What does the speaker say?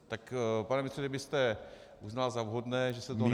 Tak pane ministře, kdybyste uznal za vhodné, že se toho nebojíte...